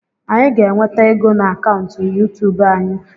Anyị ga-enweta ego na akaụntụ yuutub anyị.